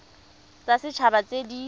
tsa set haba tse di